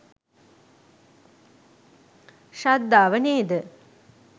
ශ්‍රද්ධාව නේද?